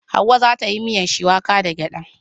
Hauwa za ta yi miyan shuwaka da gyada.